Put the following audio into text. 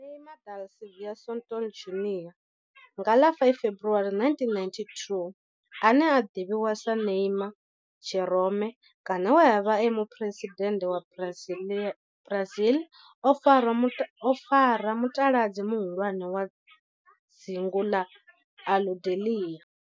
Neymar da Silva Santos Junior, nga ḽa 5 February 1992, ane a ḓivhiwa sa Ne'ymar' Jeromme kana we a vha e muphuresidennde wa Brazil o fara mutaladzi muhulwane wa dzingu na Aludalelia.